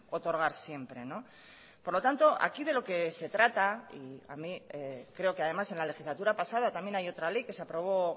otorgar siempre por lo tanto aquí de lo que se trata y a mí creo que además en la legislatura pasada también hay otra ley que se aprobó